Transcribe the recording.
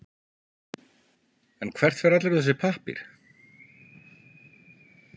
En hvert fer allur þessi pappír?